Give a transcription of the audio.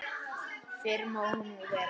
Fyrr má nú vera!